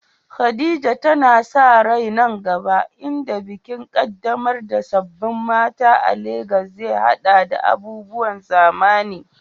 Khadija tana sa rai nan gaba, inda bikin ƙaddamar da sabbin mata a Legas zai haɗa da abubuwan zamani.